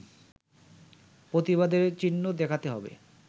প্রতিবাদের চিহ্ন দেখাতে হবে